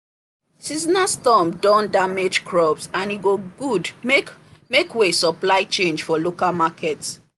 seasonal storm don damage crops and e go good make make way supply change for local market